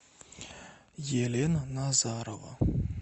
елена назарова